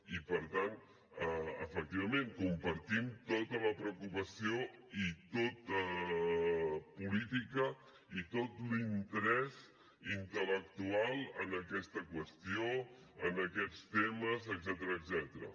i per tant efectivament compartim tota la preocupació i tota política i tot l’interès intel·lectual en aquesta qüestió en aquests temes etcètera